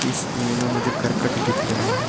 इस इमेज में मुझे करकट दिख रहे हैं।